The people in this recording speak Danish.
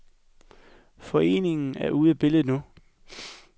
Foreningen er ude af billedet nu.